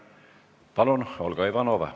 Palun, Olga Ivanova!